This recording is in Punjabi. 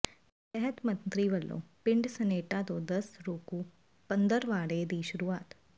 ਸਿਹਤ ਮੰਤਰੀ ਵਲੋਂ ਪਿੰਡ ਸਨੇਟਾ ਤੋਂ ਦਸਤ ਰੋਕੂ ਪੰਦਰਵਾੜੇ ਦੀ ਸ਼ੁਰੂਆਤ